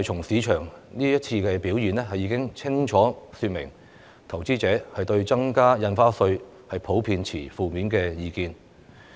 市場這次表現已清楚說明，投資者對增加印花稅普遍持負面意見。